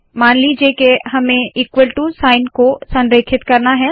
मान लीजिए के हमें ईक्वल टू साइन को संरेखित करना है